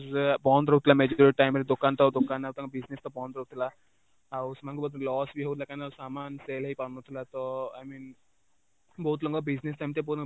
ବନ୍ଦ ରହୁଥିଲା time ରେ ଦୋକାନ ତ ଦୋକାନ ଆଉ ତାଙ୍କ business ବନ୍ଦ ରହୁଥିଲା, ଆଉ ସେମାନଙ୍କୁ ବହୁତ loss ବି ହଉଥିଲା କାରଣ sale ବି ହେଇପାରୁନଥିଲା ତ I mean ବହୁତ ଲୋକ business ସେମିତି